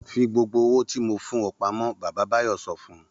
Fi gbogbo owó tí mo fún ọ pamọ́! Bàbá Báyọ̀ sọ fún un.